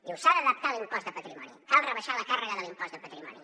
diu s’ha d’adaptar l’impost de patrimoni cal rebaixar la càrrega de l’impost de patrimoni